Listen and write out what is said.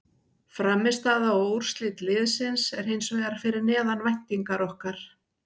Frammistaða og úrslit liðsins er hins vegar fyrir neðan væntingar okkar.